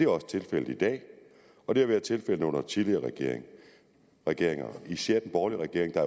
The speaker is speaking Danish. også tilfældet i dag og det har været tilfældet under tidligere regeringer regeringer især den borgerlige regering der